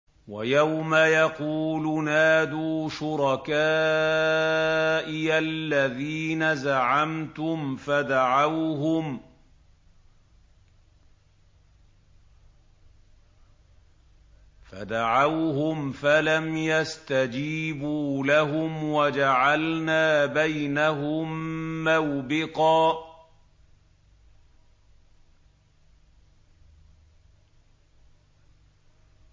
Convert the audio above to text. وَيَوْمَ يَقُولُ نَادُوا شُرَكَائِيَ الَّذِينَ زَعَمْتُمْ فَدَعَوْهُمْ فَلَمْ يَسْتَجِيبُوا لَهُمْ وَجَعَلْنَا بَيْنَهُم مَّوْبِقًا